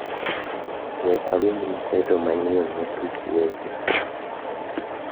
we awinj mseto manyien ne tuk weche